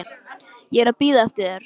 Ég er að bíða eftir þér.